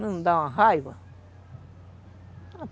Não dá uma raiva.